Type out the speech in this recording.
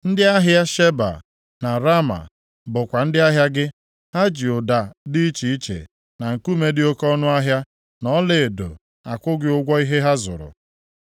“ ‘Ndị ahịa Sheba, na Raama, bụkwa ndị ahịa gị. Ha ji ụda dị iche iche na nkume dị oke ọnụahịa, na ọlaedo akwụ gị ụgwọ ihe ha zụrụ.